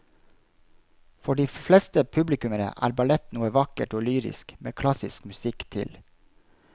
For de fleste publikummere er ballett noe vakkert og lyrisk med klassisk musikk til.